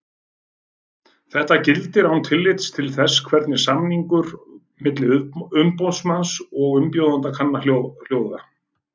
Þetta gildir án tillits til þess hvernig samningur milli umboðsmanns og umbjóðanda kann að hljóða.